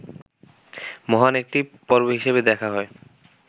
মহান একটি পর্ব হিসাবে দেখা হয়